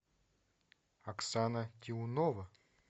оксана тиунова